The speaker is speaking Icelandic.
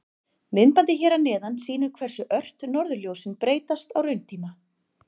Myndbandið hér að neðan sýnir hversu ört norðurljósin breytast á rauntíma.